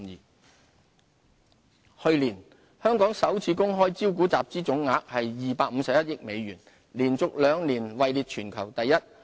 上市平台去年，香港首次公開招股集資總額為251億美元，連續兩年位列全球第一。